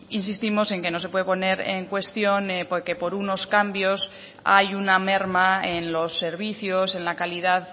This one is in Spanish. insistimos en que no se puede poner en cuestión que por unos cambios hay una merma en los servicios en la calidad